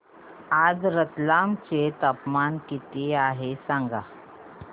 आज रतलाम चे तापमान किती आहे सांगा